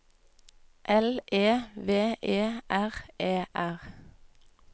L E V E R E R